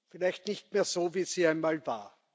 Vielleicht nicht mehr so, wie sie einmal war.